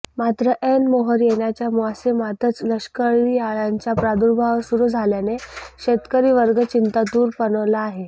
मात्र ऐन मोहोर येण्याच्या मोसमातच लष्करीअळय़ांचा प्रादुर्भावसुरू झाल्याने शेतकरीवर्गचिंतातूर बनला आहे